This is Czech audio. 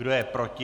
Kdo je proti?